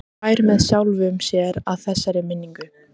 Hlær með sjálfum sér að þessari minningu.